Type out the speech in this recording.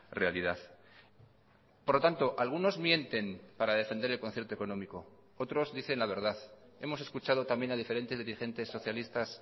realidad por lo tanto algunos mienten para defender el concierto económico otros dicen la verdad hemos escuchado también a diferentes dirigentes socialistas